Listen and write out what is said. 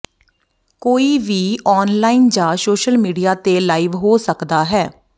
ਕੋਈ ਵੀ ਆਨਲਾਈਨ ਜਾਂ ਸੋਸ਼ਲ ਮੀਡੀਆ ਤੇ ਲਾਈਵ ਹੋ ਸਕਦਾ ਹੈ